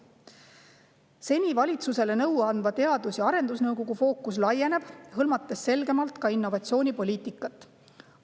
Seni valitsusele nõu andva Teadus‑ ja Arendusnõukogu fookus laieneb, hõlmates selgemalt ka innovatsioonipoliitikat.